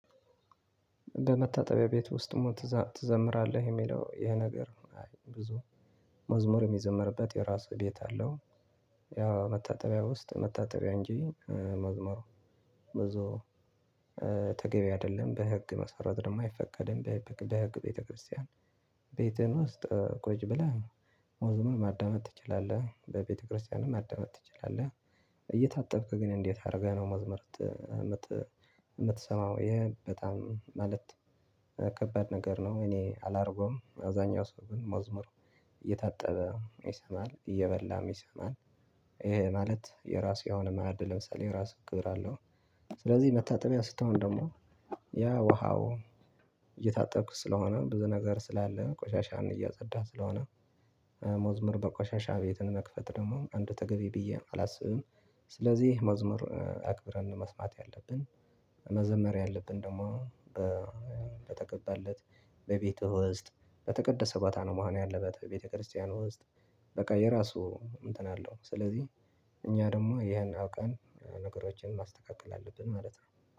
በመታጠቢያ ቤት ውስጥም ትዘምራለህ የሚለው ይሄ ነገር ብዙ መዝሙር የሚዘመርበት የራሱ ቤት አለው። ያ መታጠቢያ ውስጥ መታጠቢያ እንጂ መዝሙሩ ብዙ ተገቢ አይደለም በህግ መስረድ ነው የማይፈቀድም በህግ ቤተክርስቲያን ቤትህን ውስጥ ቆይ ብለህ ሞትም ማዳመጥ ትችላለህ በቤተክርስቲያንም ማዳመጥ ትችላለህ። እየታጠብክ ግን እንዴት አድርገህ ነው መዝመር የምትሰማው ይሄ በጣም ማለት ከባድ ነገር ነው። እኔ አላደርገውም አብዛኛው ሰው ግን መዝሙር እየታጠበ ይሰማል እየበላም ይሰማል ይሄ ማለት የራሱ የሆነ ማዕድ ለምሳሌ የራሱ ክብር አለው። ስለዚህ መታጠቢያ ስትሆን ደግሞ ያ ውሃው እየታጠብኩት ስለሆነ ብዙ ነገር ስላለ ቆሻሻን እያጸዳ ስለሆነ መዝሙር በቆሻሻ ቤትን መክፈት ደግሞ አንድ ተገቢ ብዬ አላስብም። ስለዚህ መዝሙር አክብረን መስማት ያለብን። መዘመር ያለብን ደግሞ በተገባለት በቤተ ውስጥ በተቀደሰባት አመሃን ያለበት በቤተክርስቲያን ውስጥ። በቃ የራሱ እንትን አለው ስለዚህ እኛ ደግሞ ይሄን አውቀን ነገሮችን ማስተካከል አለብን ማለት ነው